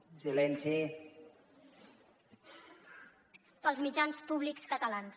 pels mitjans públics catalans